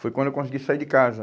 Foi quando eu consegui sair de casa.